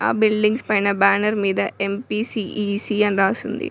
ఆ బిల్డింగ్స్ పైన బ్యానర్ మీద ఎం_పీ_సీ_ఇ_సి అని రాసుంది.